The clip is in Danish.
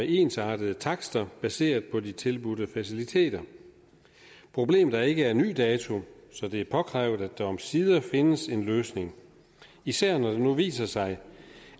ensartede takster baseret på de tilbudte faciliteter problemet er ikke af ny dato så det er påkrævet at der omsider findes en løsning især når det nu viser sig